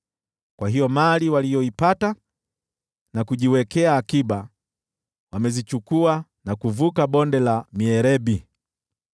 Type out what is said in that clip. Kwa hiyo mali waliyoipata na kujiwekea akiba wamezichukua na kuvuka Bonde la Mierebi.